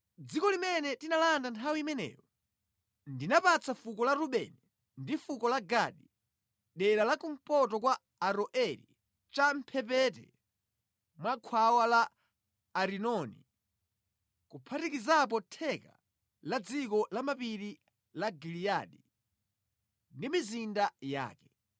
Dziko limene tinalanda nthawi imeneyo, ndinapatsa fuko la Rubeni ndi fuko la Gadi dera la kumpoto kwa Aroeri cha mʼmphepete mwa khwawa la Arinoni kuphatikizapo theka la dziko lamapiri la Giliyadi ndi mizinda yake.